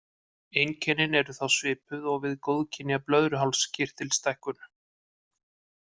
Einkennin eru þá svipuð og við góðkynja blöðruhálskirtilsstækkun.